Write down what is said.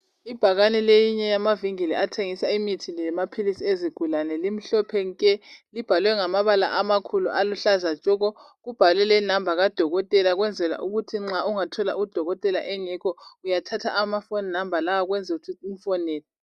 Ibhakane leyinye yamavinkili athengisa imithi lamaphilisi ezigulane limhlophe nke. Libhalwe ngamabala amakhulu aluhlaza tshoko. Kubhalwe inamba kadokotela ukwenzela ukuthi nxa ungathola udokotela engekho uyathatha amafoni namba lawa umfonele.